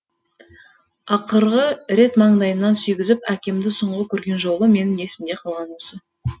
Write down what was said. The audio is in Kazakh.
ақырғы рет маңдайымнан сүйгізіп әкемді соңғы көрген жолы менің есімде қалғаны осы